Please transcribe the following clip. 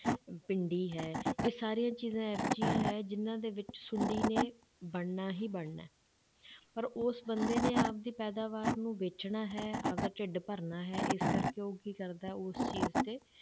ਭਿੰਡੀ ਹੈ, ਇਹ ਸਾਰੀਆਂ ਚੀਜ਼ਾਂ ਇਹ ਜਿਹੀਆਂ ਹੈ ਜਿੰਨਾਂ ਦੇ ਵਿੱਚ ਸੁੰਡੀ ਨੇ ਵੜਨਾ ਹੀ ਵੜਨਾ ਹੈ ਪਰ ਉਸ ਬੰਦੇ ਨੇ ਆਪਦੀ ਪੈਦਾਵਾਰ ਨੂੰ ਵੇਚਣਾ ਹੈ, ਆਪਦਾ ਢਿੱਡ ਭਰਨਾ ਹੈ, ਇਸ ਕਰਕੇ ਉਹ ਕੀ ਕਰਦਾ ਹੈ, ਉਸ ਚੀਜ਼ ਤੇ